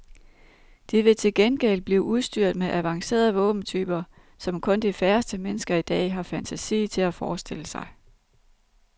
De vil til gengæld blive udstyret med avancerede våbentyper, som kun de færreste mennesker i dag har fantasi til at forestille sig.